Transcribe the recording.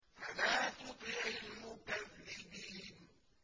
فَلَا تُطِعِ الْمُكَذِّبِينَ